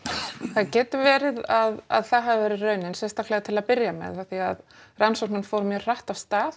það getur verið að að það hafi verið raunin sérstaklega til að byrja með af því að rannsóknin fór mjög hratt af stað